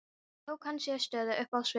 Síðan tók hann sér stöðu uppi á sviðinu.